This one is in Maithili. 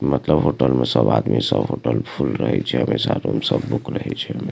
मतलब होटल में सब आदमी सब होटल फुल रहय छै हमेशा रूम सब बुक रहय छै हमेशा।